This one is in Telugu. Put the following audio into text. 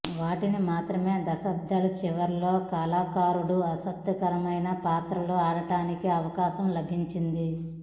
వాటిని మాత్రమే దశాబ్దం చివరలో కళాకారుడు ఆసక్తికరమైన పాత్రలు ఆడటానికి అవకాశం లభించింది